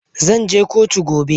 Eh gobe zanje kotu.